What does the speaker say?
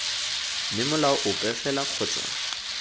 mme molao ope fela kgotsa